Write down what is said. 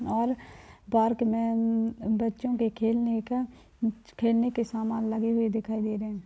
और पार्क में अम बच्चो के खेलने का कुछ खेलने के सामान लगे हुए दिखाई दे रहे हैं।